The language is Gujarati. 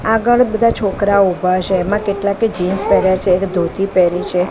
આગળ બધા છોકરાઓ ઊભા છે એમા કેટલાકે જીન્સ પેર્યા છે એક ધોતી પેરી છે.